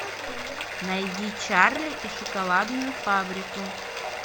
найди чарли и шоколадную фабрику